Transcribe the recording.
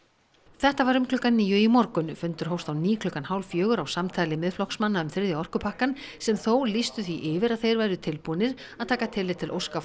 þetta var um klukkan níu í morgun fundur hófst á ný klukkan hálffjögur á samtali Miðflokksmanna um þriðja orkupakkann sem þó lýstu því yfir að þeir væru tilbúnir að taka tillit til óska